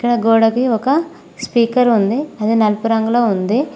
గోడకి ఒక స్పీకర్ ఉంది అది నలుపు రంగులో ఉంది.